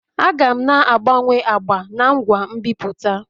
Aga m na-agbanwe agba n' ngwa nbipute